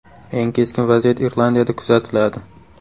Eng keskin vaziyat Irlandiyada kuzatiladi.